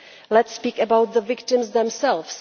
Let us speak about the victims themselves.